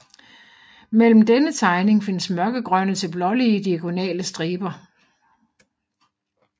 Mellem denne tegning findes mørkegrønne til blålige diagonale striber